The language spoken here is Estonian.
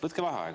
Võtke vaheaeg.